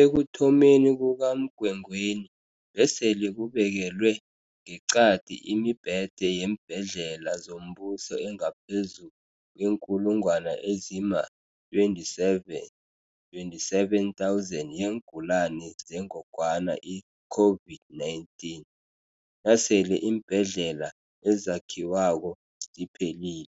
Ekuthomeni kukaMgwengweni, besele kubekelwe ngeqadi imi-bhede yeembhedlela zombuso engaphezu kweenkulungwana ezima-27, 27 000, yeengulani zengogwana i-COVID-19. Nasele iimbhedlela ezakhiwako ziphelile,